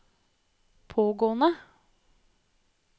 pågående